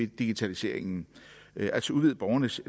digitaliseringen altså udvide borgernes